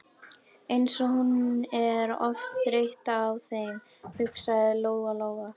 Eins og hún er oft þreytt á þeim, hugsaði Lóa Lóa.